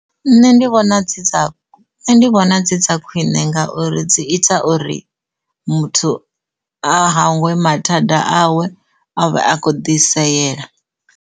Nṋe ndi vhona dzi dza, ndi vhona dzi dza khwine ngauri dzi ita uri muthu a hangwe mathada awe avhe a kho ḓi seyela.